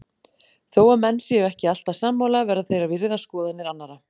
Þó að menn séu ekki alltaf sammála verða þeir að virða skoðanir annara.